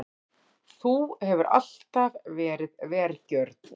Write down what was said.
Þú hefur alltaf verið vergjörn.